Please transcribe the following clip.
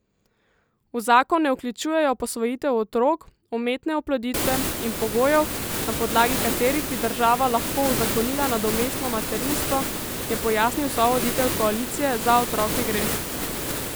V zakon ne vključujejo posvojitev otrok, umetne oploditve in pogojev, na podlagi katerih bi država lahko uzakonila nadomestno materinstvo, je pojasnil sovoditelj Koalicije Za otroke gre!